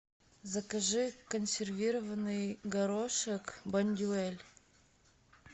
закажи консервированный горошек бондюэль